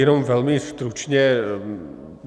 Jenom velmi stručně.